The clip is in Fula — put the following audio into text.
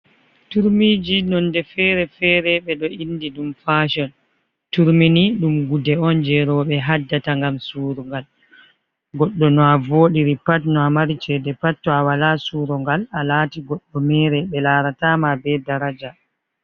Turmiji nonde fere-fere ɓeɗo indi ɗum fation turmi ni ɗum gude on je roɓe haddata ngam surungal goɗɗo no a vodiri pat no a mari chede pat to a wala surugal a lati goɗɗo mere ɓe larata ma be daraja.